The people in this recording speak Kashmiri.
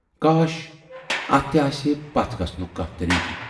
کاش! اتھ تہِ آسہِ ہے پتھ گَژھنُک کانہہ طریٖقہٕ۔